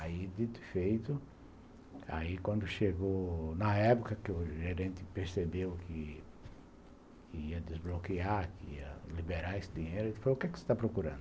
Aí, dito e feito, aí quando chegou na época que o gerente percebeu que ia desbloquear, que ia liberar esse dinheiro, ele falou, o que você está procurando?